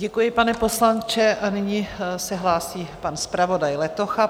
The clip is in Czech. Děkuji, pane poslanče, a nyní se hlásí pan zpravodaj Letocha.